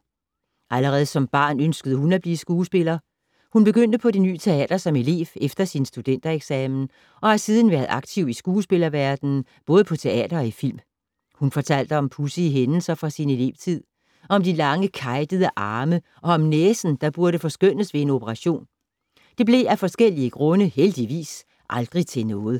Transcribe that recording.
Allerede som barn ønskede hun at blive skuespiller. Hun begyndte på Det Ny Teater som elev efter sin studentereksamen, og har siden været aktiv i skuespillerverdenen, både på teater og i film. Hun fortalte om pudsige hændelser fra sin elevtid. Om de lange kejtede arme og om næsen, der burde forskønnes ved en operation. Det blev af forskellige grunde heldigvis aldrig til noget.